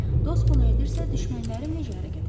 Dost bunu edirsə, düşmənlərim necə hərəkət eləyər?